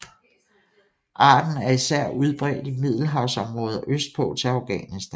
Arten er især udbredt i middelhavsområdet og østpå til Afghanistan